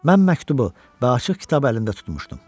Mən məktubu və açıq kitab əlində tutmuşdum.